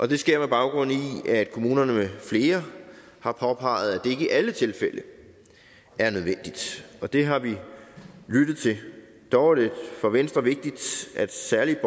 det sker med baggrund i at kommunerne med flere har påpeget at det ikke i alle tilfælde er nødvendigt og det har vi lyttet til dog er det for venstre vigtigt at særligt